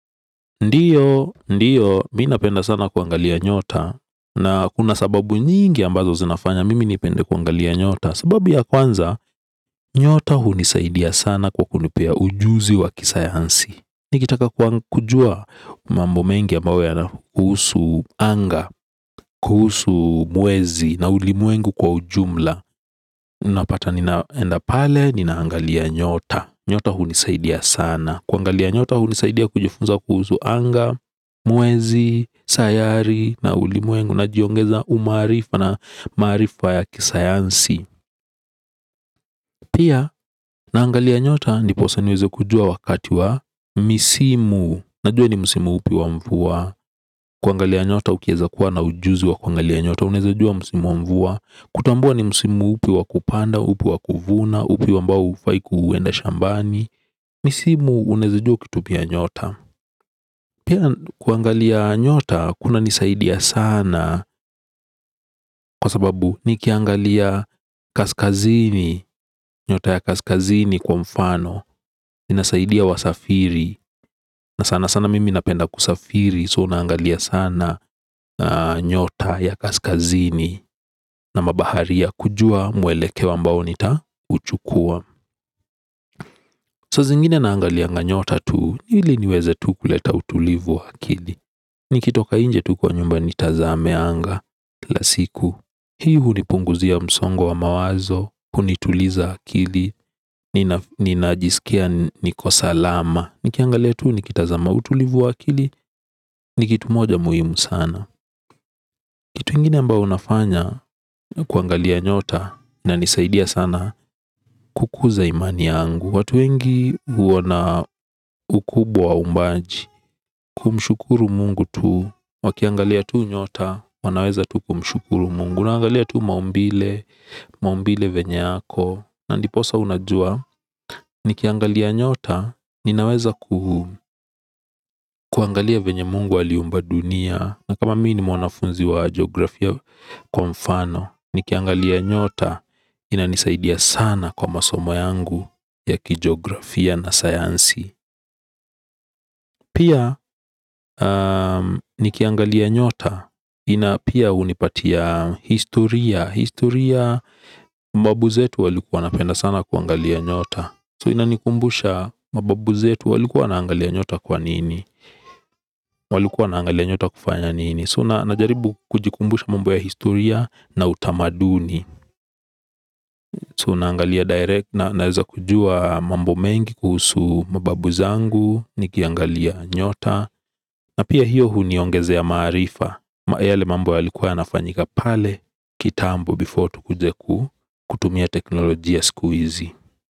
Ndiyo, ndiyo, mi napenda sana kuangalia nyota na kuna sababu nyingi ambazo zinafanya mimi nipende kuangalia nyota. Sababu ya kwanza, nyota hunisaidia sana kwa kunipea ujuzi wa kisayansi. Nikitaka kujua mambo mengi ambayo yana husu anga, kuhusu mwezi na ulimwengu kwa ujumla. Napata ninaenda pale, ninaangalia nyota, nyota hunisaidia sana kuangalia nyota hunisaidia kujufunza kuhuzu anga, mwezi, sayari na ulimwengu najiongeza umarifa na marifa ya kisayansi. Pia naangalia nyota ndiposa niweze kujua wakati wa misimu. Najua ni musimu upi wa mvua. Kwangalia nyota ukieza kuwa na ujuzi wa kwangalia nyota uneze jua musimu wa mvua. Kutambua ni musimu upi wa kupanda, upi wa kuvuna, upi ambao ufai kuenda shambani. Misimu uneza jua kitu pia nyota. Pia kuangalia nyota kuna nisaidia saana kwa sababu nikiangalia kaskazini nyota ya kaskazini kwa mfano. Nisaidia wasafiri na sana sana mimi napenda kusafiri so naangalia sana nyota ya kaskazini. Na mabaharia kujua mwelekeo ambao nita uchukua. Saa zingine naangalianga nyota tu ili niweze tu kuleta utulivu wa akili. Nikitoka inje tu kwa nyumba nitazame anga. Kila siku. Hii hunipunguzia msongo wa mawazo. Kunituliza akili. Ninajisikia niko salama. Nikiangalia tu nikitazama utulivu wa akili. Ni kitu moja muhimu sana. Kitu ingine ambao nafanya ni kuangalia nyota ina nisaidia sana kukuza imani yangu. Watu wengi wana ukubwa umbaji. Kumshukuru Mungu tu. Wakiangalia tu nyota. Wanaweza tu kumshukuru Mungu. Naangalia tu maumbile. Maumbile events yako. Na ndiposa unajua. Nikiangalia nyota. Ninaweza kuangalia venya Mungu aliumba dunia. Na kama mii ni mwanafunzi wa geografia. Kwa mfano. Nikiangalia nyota. Inanisaidia sana kwa masomo yangu ya kigeografia na sayansi. Pia nikiangalia nyota. Pia unipatia Historia. Historia mbabu zetu walikuwa wanapenda sana kuangalia nyota So ina nikumbusha mababu zetu walikuwa wanaangalia nyota kwa nini. Walikuwa wanangalia nyota kufanya nini So na najaribu kujikumbusha mambo ya historia na utamaduni So naangalia direct na naeza kujua mambo mengi kuhusu mababu zangu. Nikiangalia nyota. Na pia hiyo huniongezea maarifa ama yale mambo yalikuwa yanafanyika pale. Kitambo before tukuje kutumia teknolojia skuizi.